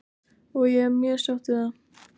Og ég er mjög sátt við það.